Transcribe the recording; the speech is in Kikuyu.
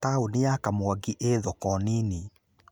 Taũni ya Kamwangi ĩĩ thoko nini